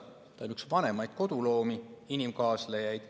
Ta on üks vanimaid koduloomi, inimkaaslejaid.